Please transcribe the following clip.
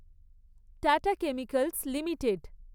tata chemicals limited